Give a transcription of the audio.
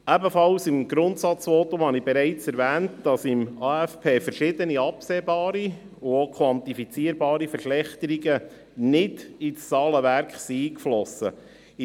Ebenfalls im Grundsatzvotum habe ich bereits erwähnt, dass im AFP verschiedene absehbare und auch quantifizierbare Verschlechterungen nicht in das Zahlenwerk eingeflossen sind.